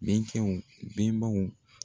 Bɛnkɛw bɛnbaw